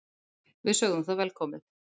Við sögðum það velkomið.